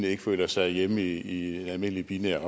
ikke føler sig hjemme i en almindelig binær